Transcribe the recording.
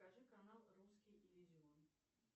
покажи канал русский иллюзион